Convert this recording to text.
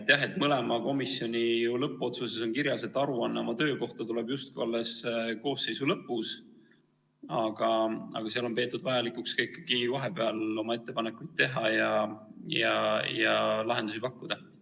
Jah, mõlema komisjoni moodustamise otsuses on kirjas, et aruanne oma töö kohta tuleb justkui alles koosseisu lõpus, aga seal on peetud vajalikuks ikkagi ka vahepeal oma ettepanekuid teha ja lahendusi pakkuda.